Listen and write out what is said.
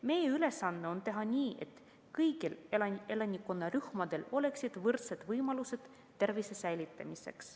Meie ülesanne on teha nii, et kõigil elanikkonnarühmadel oleksid võrdsed võimalused tervise säilitamiseks.